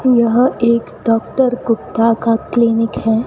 यह एक डॉक्टर गुप्ता का क्लीनिक है।